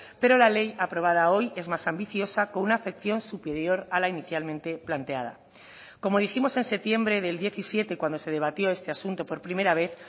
pero la ley aprobada hoy es más ambiciosa con una afección superior a la inicialmente planteada como dijimos en septiembre del diecisiete cuando se debatió este asunto por primera vez